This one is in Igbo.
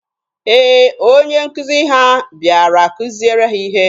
Ee, onye nkuzi ha bịara kuziere ha ihe.